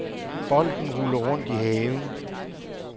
Bolden ruller rundt i haven.